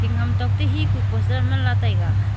hingham tok to he ku poster manla taiga.